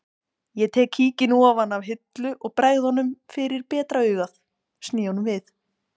Ég tek kíkinn ofan af hillu og bregð honum fyrir betra augað sný honum við